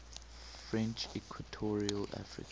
french equatorial africa